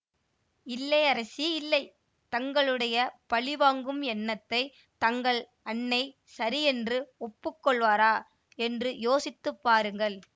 இல்லை அரசி இல்லை தங்களுடைய பழி வாங்கும் எண்ணத்தைத் தங்கள் அன்னை சரியென்று ஒப்புக்கொள்வாரா என்று யோசித்து பாருங்கள்